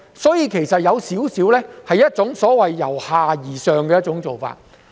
所以，這其實是一種由下而上的做法。